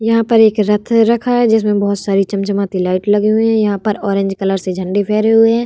यहाँ पर एक रथ रखा है जिसमें बहोत सारी चमचमाती लाइट लगी हुई है यहाँ पर ऑरेंज कलर से झंडे फैरे हुए हैं।